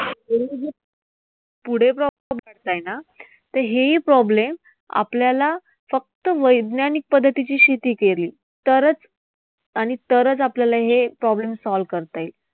तर हेही problem आपल्याला फक्त वैज्ञानिक पद्धतीची शेती केली तरच आणि तरच आपल्याला हे problem solve करता येईल.